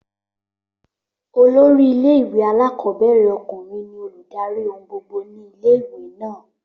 Olórí ilé ìwé alákọ̀ọ́bẹ̀rẹ̀ ọkùnrin ní olùdarí ohun gbogbo ni ilé ìwé náà